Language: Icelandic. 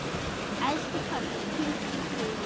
Elsku Torfi, hvíldu í friði.